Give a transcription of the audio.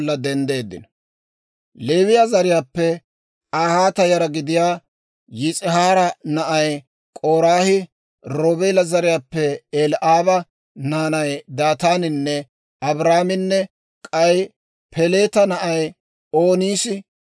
Leewiyaa zariyaappe K'ahaata yara gidiyaa Yis'ihaara na'ay K'oraahi, Roobeela zariyaappe Eli'aaba naanay Daataaninne Abiiraaminne k'ay Peleeta na'ay Oonis,